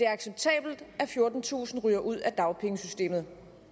acceptabelt at fjortentusind ryger ud af dagpengesystemet